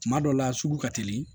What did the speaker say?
Kuma dɔw la sugu ka teli